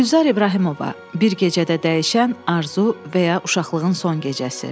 Gülzar İbrahimova, bir gecədə dəyişən arzu və ya uşaqlığın son gecəsi.